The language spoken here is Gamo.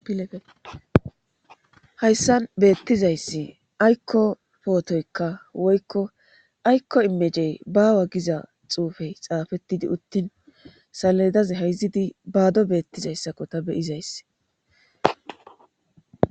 pilefehayssan beettizayssi aykko pootoykka woykko aykko imejey baawa giza xuufey xaafettidi uttin saledaz hayzidi baado beettizayssakko ta beyizayss